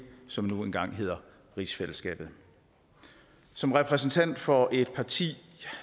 som nu engang hedder rigsfællesskabet som repræsentant for et parti